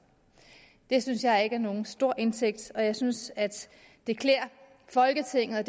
det synes jeg ikke er nogen stor indtægt og jeg synes at det klæder folketinget og